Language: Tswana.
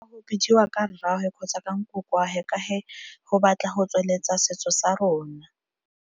Go bidiwa ka rraagwe kgotsa ka nkoko wa he ka he go batla go tsweletsa setso sa rona.